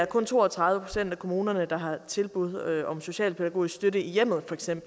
kun to og tredive procent af kommunerne der har tilbud om socialpædagogisk støtte i hjemmet